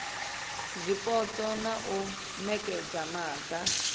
zwipotso na u nekedza maga